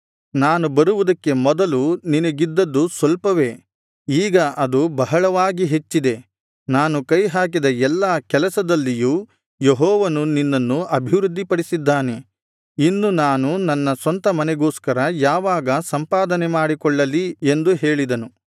ನಾನು ಬರುವುದಕ್ಕೆ ಮೊದಲು ನಿನಗಿದ್ದದ್ದು ಸ್ವಲ್ಪವೇ ಈಗ ಅದು ಬಹಳವಾಗಿ ಹೆಚ್ಚಿದೆ ನಾನು ಕೈಹಾಕಿದ ಎಲ್ಲಾ ಕೆಲಸದಲ್ಲಿಯೂ ಯೆಹೋವನು ನಿನ್ನನ್ನು ಅಭಿವೃದ್ಧಿಪಡಿಸಿದ್ದಾನೆ ಇನ್ನು ನಾನು ನನ್ನ ಸ್ವಂತ ಮನೆಗೋಸ್ಕರ ಯಾವಾಗ ಸಂಪಾದನೆ ಮಾಡಿಕೊಳ್ಳಲಿ ಎಂದು ಹೇಳಿದನು